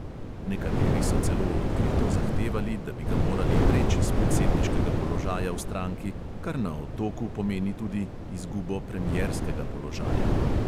Nekateri so celo odkrito zahtevali, da bi ga morali vreči s predsedniškega položaja v stranki, kar na otoku pomeni tudi izgubo premierskega položaja.